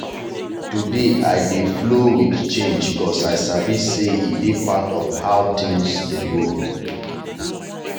today i dey flow with change 'cause i sabi say e dey part of how things dey go.